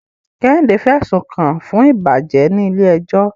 Kehinde fẹ̀sùn kàn án fún ìbàjẹ́ ní ilé ẹjọ́.